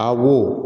Aw wo